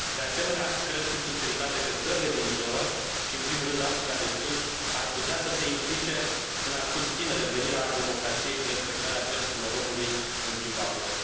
De asemenea, cred cu sinceritate că țările din zonă și, în primul rând, Africa de Sud ar putea să se implice în a susține revenirea la democrație și respectarea drepturilor omului în Zimbabwe.